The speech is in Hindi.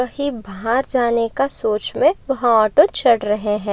कहीं बाहर जाने का सोच में वह ऑटो चड़ रहे है।